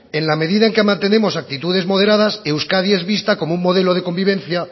en la medida en que mantenemos actitudes moderadas euskadi es vista como un modelo de convivencia